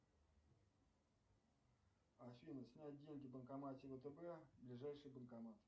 афина снять деньги в банкомате втб ближайший банкомат